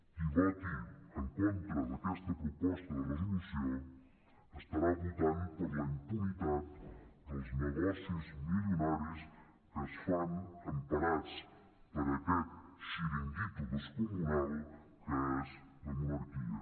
qui voti en contra d’aquesta proposta de resolució estarà votant per la impunitat dels negocis milionaris que es fan emparats per aquest xiringuito descomunal que és la monarquia